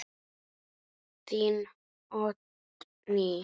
Þín, Oddný.